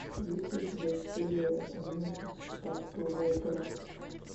есть ли у тебя серия одиннадцать штат голубая гора